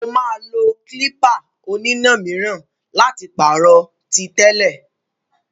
Ó máa lo klípà oníná míràn láti pàrọ̀ tí tẹ́lẹ̀.